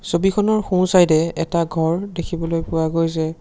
ছবিখনৰ সোঁচাইডে এটা ঘৰ দেখিবলৈ পোৱা গৈছে।